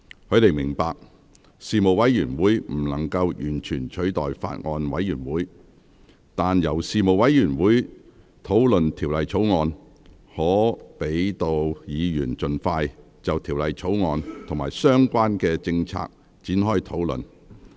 他們明白，事務委員會不能完全取代法案委員會，但由事務委員會討論《條例草案》，可讓議員盡快就《條例草案》與相關政策局展開討論。